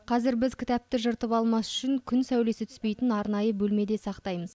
қазір біз кітапты жыртып алмас үшін күн сәулесі түспейтін арнайы бөлмеде сақтаймыз